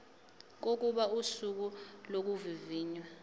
kokuba usuku lokuvivinywa